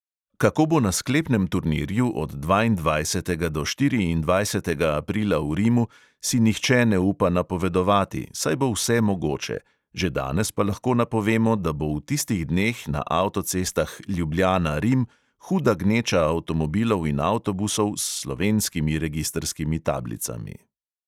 Kako bo na sklepnem turnirju od dvaindvajsetega do štiriindvajsetega aprila v rimu, si nihče ne upa napovedovati, saj bo vse mogoče, že danes pa lahko napovemo, da bo v tistih dneh na avtocestah ljubljana-rim huda gneča avtomobilov in avtobusov s slovenskimi registrskimi tablicami.